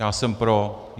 Já jsem pro.